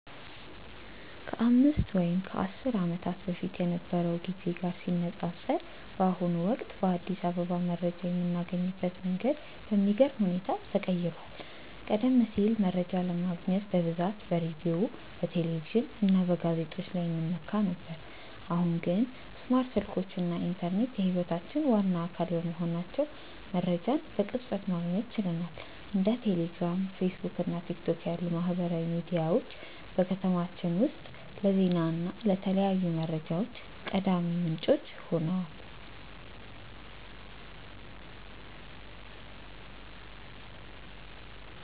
ከአምስት ወይም ከአስር ዓመታት በፊት ከነበረው ጊዜ ጋር ሲነፃፀር፣ በአሁኑ ወቅት በአዲስ አበባ መረጃ የምናገኝበት መንገድ በሚገርም ሁኔታ ተቀይሯል። ቀደም ሲል መረጃ ለማግኘት በብዛት በሬዲዮ፣ በቴሌቪዥን እና በጋዜጦች ላይ እንመካ ነበር፤ አሁን ግን ስማርት ስልኮች እና ኢንተርኔት የህይወታችን ዋና አካል በመሆናቸው መረጃን በቅጽበት ማግኘት ችለናል። እንደ ቴሌግራም፣ ፌስቡክ እና ቲክቶክ ያሉ ማህበራዊ ሚዲያዎች በከተማችን ውስጥ ለዜና እና ለተለያዩ መረጃዎች ቀዳሚ ምንጮች ሆነዋል።